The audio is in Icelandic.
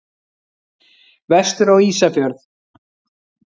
Vestur á Ísafjörð.